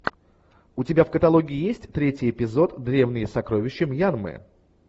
у тебя в каталоге есть третий эпизод древние сокровища мьянмы